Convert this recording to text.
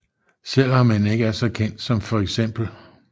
Selvom han ikke er så kendt som feks